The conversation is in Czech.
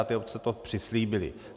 A ty obce to přislíbily.